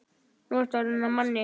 Nú ertu orðinn að manni.